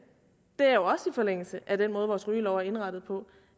det følger også i forlængelse af den måde vores rygelov er indrettet på